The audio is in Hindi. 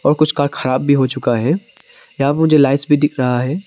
और कुछ कार खराब भी हो चुका है यहां मुझे लाइट्स भी दिख रहा है।